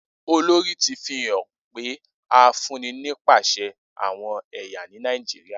Olori ti fihan pe a fun ni nipasẹ awọn ẹya ni Nàìjíríà.